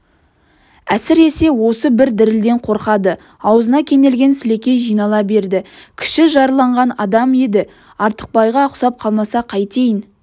әсіресе осы бір дірілден қорқады аузына кенелген сілекей жинала берді кіші жарланған адам еді артықбайға ұқсап қалмаса қайтейін